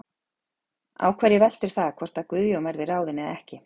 Á hverju veltur það hvort að Guðjón verði ráðinn eða ekki?